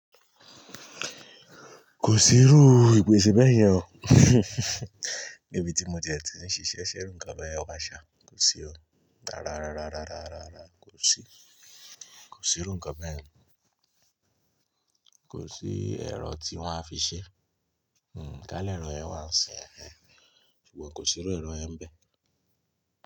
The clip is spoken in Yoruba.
Kò sí irú ìpèsè bẹ́yẹn o. Níbi tí mo ti ẹ ti ń ṣiṣẹ́ ṣe irú ǹkan beyen wà ṣà, kò sí o. Rárárárárárá kò sí, kò sí irú nǹkan beyen kò sí ẹ̀rọ tí wọ́n á fi ṣe. Hmm, ká lẹ̀rọ ẹ wà n ṣin ehen, ṣùgbọ́n kò sí irú ẹ̀rọ yẹn bẹ́ẹ̀.